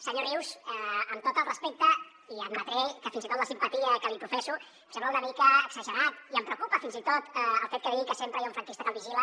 senyor rius amb tot el respecte i admetré que fins i tot la simpatia que li professo em sembla una mica exagerat i em preocupa fins i tot el fet que digui que sempre hi ha un franquista que el vigila